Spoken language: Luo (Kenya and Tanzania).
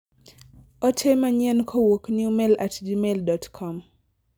ote manyien kowuok newmail at gmail.com